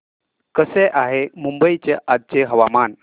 कसे आहे मुंबई चे आजचे हवामान